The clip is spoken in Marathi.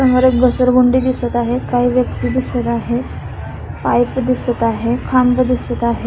समोर एक घसरगुंडी दिसत आहे काही व्यक्ति दिसत आहे पाइप दिसत आहे खांब दिसत आहे.